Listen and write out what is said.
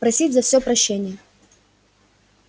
просить за всё прощения